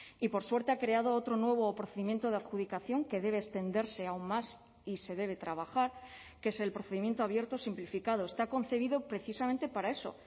y por suerte ha creado otro nuevo procedimiento de adjudicación que debe extenderse aún más y se debe trabajar que es el procedimiento abierto simplificado está concebido precisamente para eso